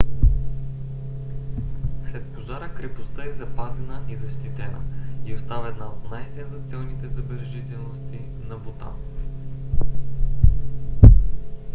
след пожара крепостта е запазена и защитена и остава една от най-сензационните забележителности на бутан